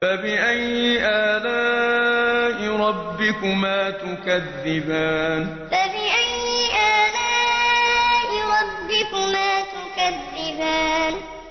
فَبِأَيِّ آلَاءِ رَبِّكُمَا تُكَذِّبَانِ فَبِأَيِّ آلَاءِ رَبِّكُمَا تُكَذِّبَانِ